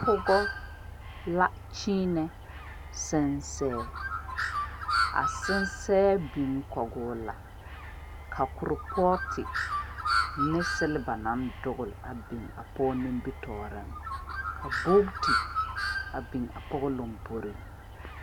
Pɔgɔ la kyeenɛ sɛnsɛ a sɛnsɛ biŋ kɔge o la ka kuripɔɔte ne selba naŋ dogli a biŋ pɔge nimitɔɔreŋ ka buute a biŋ a pɔge lomboriŋ.